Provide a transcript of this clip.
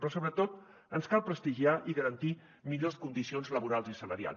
però sobretot ens cal prestigiar i garantir millors condicions laborals i salarials